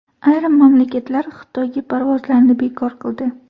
Ayrim mamlakatlar Xitoyga parvozlarni bekor qildi.